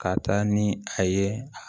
Ka taa ni a ye